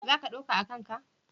Za ka ɗauka a kan ka?